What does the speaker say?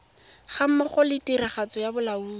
gammogo le tiragatso ya bolaodi